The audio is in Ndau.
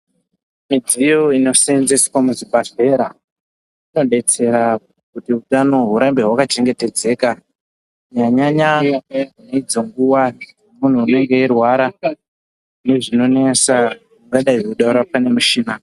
Mudziyo anosenzeswa muzvibhehlera inodetsere kuti utano urambe hwakachengetedzeka kunyanya nyanya idzo nguwa mundu unenge erwara nezvinonetsa idzo unoda rapwa nemushina.